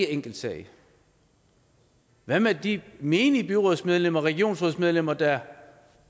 enkelt sag hvad med de menige byrådsmedlemmer og regionsrådsmedlemmer der